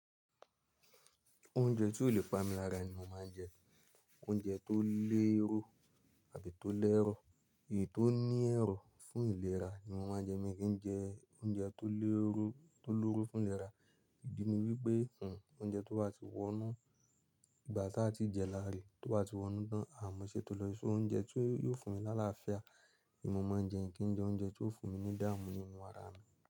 Oúnjẹ tí ò lè pamí lára ni mo máa ń jẹ, oúnjẹ tó lérò àbí tó lẹ́rọ̀, èyí tó ní ẹ̀rọ̀ fún ìlera ni mo máa ń jẹ. Mi kì í jẹ oúnjẹ tó lóro, tó lóro fún ìlera, ìdí ni wípé oúnjẹ tó ba tí wọnú, ìgbà tí a ti jẹ láre, tó bà tí wọnú tán, à mọ́ ìṣẹ tó lọ sórí oúnjẹ tí yóò fún mi lálafíà ni mo máa ń jẹ. Mi kì í jẹ oúnjẹ tí ó fún mi ní idáàmù nínú ara mi.